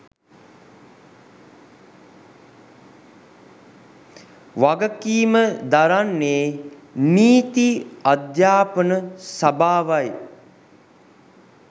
වගකීම දරන්නේ නීති අධ්‍යාපන සභාවයි.